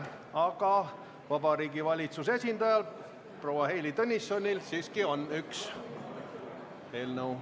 Vabariigi Valitsuse esindajal proua Heili Tõnissonil on üks eelnõu.